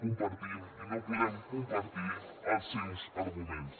compartim i no podem compartir els seus arguments